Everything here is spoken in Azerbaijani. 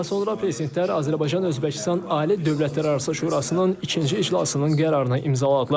Daha sonra prezidentlər Azərbaycan-Özbəkistan Ali Dövlətlərarası Şurasının ikinci iclasının qərarını imzaladılar.